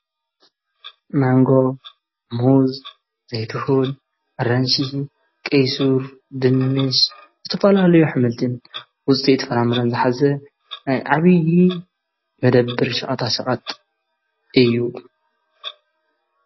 ማንጎ ሞዝ ዘይትሁድ ራንስ ቀይሱር ድንምስ ዝተፈልለዮኅመልቲን ዉጠይቲ ፍራምርንዘኃዘ ኣይዓብዪ መደብር ሸቕታ ሸቐጥ እዩ።